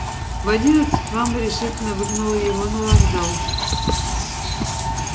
в одиннадцать мама решительно выгнала его на вокзал